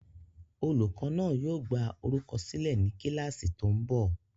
Olùkọ́ náà yóò gbá orúkọ sílẹ̀ ní kíláàsì tó ń bọ̀